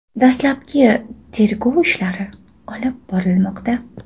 Dastlabki tergov ishlari olib borilmoqda.